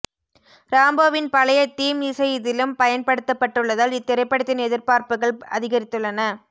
ராம்போவின் பழைய தீம் இசை இதிலும் பயன்படுத்தப்பட்டுள்ளதால் இத்திரைப்படத்தின் எதிர்பார்ப்புகள் அதிகரித்துள்ளன